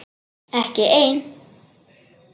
Ekki ein?